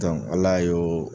Ala ye o